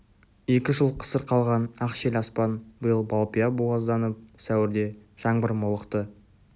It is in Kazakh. екі жыл қысыр қалған ақ шел аспан биыл балпия буазданып сәуірде жаңбыр молықты